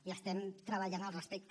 i estem treballant al respecte